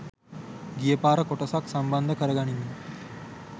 ගියපාර කොටසත් සම්බන්ධ කරගනිමින්.